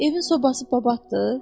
Evin sobası babatdır?